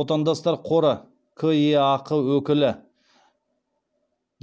отандастар қоры кеақ өкілі